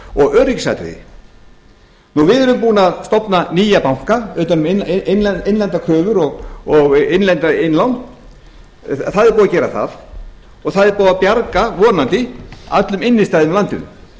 og öryggisatriði við erum búin að stofna nýja banka utan um innlendar kröfur og innlend innlán það er búið að gera það og það er búið að bjarga vonandi öllum innstæðum í landinu